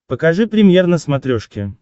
покажи премьер на смотрешке